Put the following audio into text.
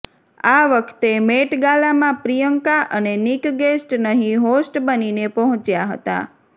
આ વખતે મેટ ગાલામાં પ્રિયંકા અને નિક ગેસ્ટ નહીં હોસ્ટ બનીને પહોંચ્યા હતાં